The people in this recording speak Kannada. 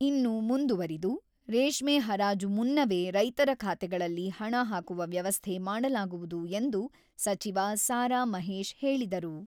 ಇನ್ನು ಮುಂದುವರಿದು, ರೇಷ್ಮೆ ಹರಾಜು ಮುನ್ನವೇ ರೈತರ ಖಾತೆಗಳಲ್ಲಿ ಹಣ ಹಾಕುವ ವ್ಯವಸ್ಥೆ ಮಾಡಲಾಗುವುದು ಎಂದು ಸಚಿವ ಸಾ.ರಾ.ಮಹೇಶ್ ಹೇಳಿದರು.